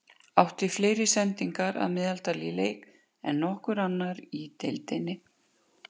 Átti fleiri sendingar að meðaltali í leik en nokkur annar í deildinni.